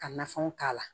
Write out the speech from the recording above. Ka nafɛnw k'a la